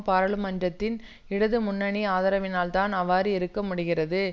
பாராளுமன்றத்தின் இடது முன்னணி ஆதரவினால் தான் அவ்வாறு இருக்க முடிகிறது